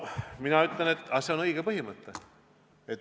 Mina ütlen, et see on õige põhimõte.